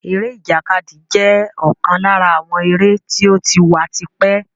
Eré ìjàkadì jẹ́ ọ̀kan lára àwọn eré tí ó ti wà tipẹ́